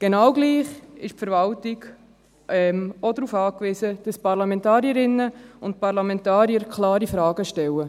Genau gleich ist die Verwaltung auch darauf angewiesen, dass die Parlamentarierinnen und Parlamentarier klare Fragen stellen.